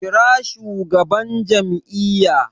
Kira shugaban jam'iyya!